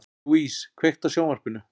Louise, kveiktu á sjónvarpinu.